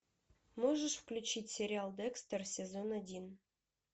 можешь включить сериал декстер сезон один